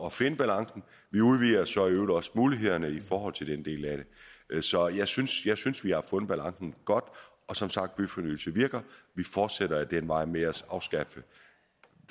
at finde balancen vi udvider så i øvrigt også mulighederne i forhold til den del af det så jeg synes jeg synes vi har fundet balancen godt og som sagt byfornyelse virker vi fortsætter ad den vej med at afskaffe